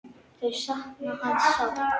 Þau sakna hans sárt.